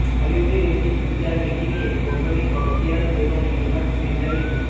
হলিউডের একটি গির্জার মিটিংয়ে কোর্টনি করদিয়ান এবং ইউনাস বেঞ্জামিম